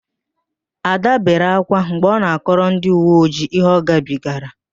Ạda bere ákwá mgbe ọ na-akọrọ ndịuweojii ihe ọgabigara